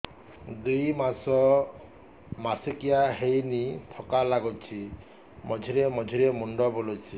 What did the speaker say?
ଦୁଇ ମାସ ମାସିକିଆ ହେଇନି ଥକା ଲାଗୁଚି ମଝିରେ ମଝିରେ ମୁଣ୍ଡ ବୁଲୁଛି